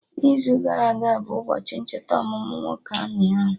n'izu gara aga bụ ụbọchị ncheta ọmụmụ nwoke amị ahụ